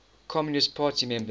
communist party members